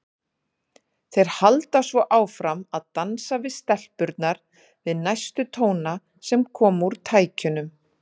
Þeir halda svo áfram að dansa við stelpurnar við næstu tóna sem koma úr tækjunum.